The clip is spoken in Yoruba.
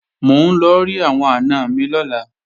Mò ń lọ rí àwọn àna mi lọ́la